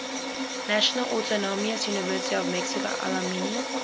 national autonomous university of mexico alumni